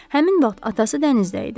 Həmin vaxt atası dənizdə idi.